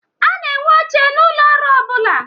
A na-enwe oche n'ụlọ ọrụ ọbụla.